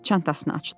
Çantasını açdı.